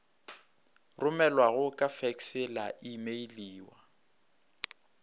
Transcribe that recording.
romelwago ka fekse la imeiliwa